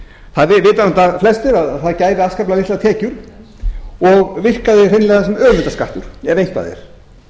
það vita það flestir að það gæfi afskaplega litlar tekjur og virkaði hreinlega sem auðlindaskattur ef eitthvað er